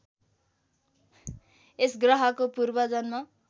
यस ग्रहको पूर्वजन्म